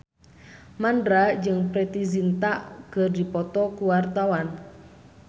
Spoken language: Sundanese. Mandra jeung Preity Zinta keur dipoto ku wartawan